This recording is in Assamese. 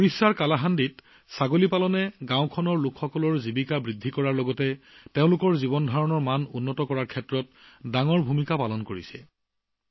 ওড়িশাৰ কালাহাণ্ডিত ছাগলী পালন জীৱিকাৰ এক প্ৰধান মাধ্যম হৈ পৰাৰ লগতে গাঁওবাসীৰ জীৱনৰ মান উন্নত কৰা হৈছে